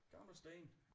Gamle sten